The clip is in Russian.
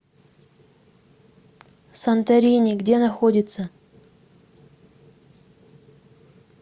санторини где находится